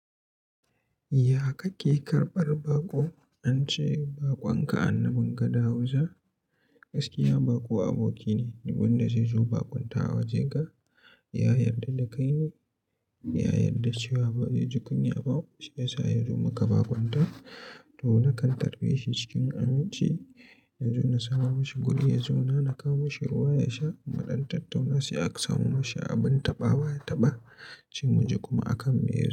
Ya kake karɓar baƙo? An ce baƙon ka annabin ka da hausa. Gaskiya baƙo aboki ne, duk wanda zai zo baƙuntawa a wajen ka ya yarda da kaine, ya yarda cewa ba zai ji kunya ba shi yasa ya zo maka baƙunta. To na kan tarbe shi cikin aminci, ya zo na samo mishi guri, ya zauna na kawo mishi ruwa ya sha, mudan tattauna sai aka samo mishi abin taɓawa ya taɓa, sai muji kuma a kan me yar.